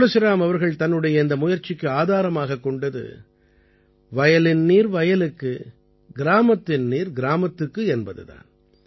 துளசிராம் அவர்கள் தன்னுடைய இந்த முயற்சிக்கு ஆதாரமாகக் கொண்டது வயலின் நீர் வயலுக்கு கிராமத்தின் நீர் கிராமத்துக்கு என்பது தான்